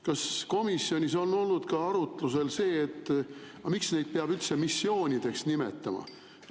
Kas komisjonis on olnud ka arutlusel, et miks neid peab üldse missioonideks nimetama?